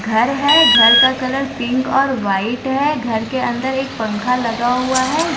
घर हैं घर का कलर पिंक और व्हाइट हैं घर के अंदर एक पंखा लगा हुआ हैं।